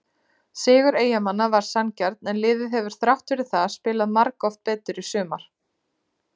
Sigur Eyjamanna var sanngjarn en liðið hefur þrátt fyrir það spilað margoft betur í sumar.